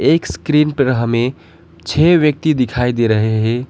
एक स्क्रीन पर हमें छे व्यक्ति दिखाई दे रहे हैं।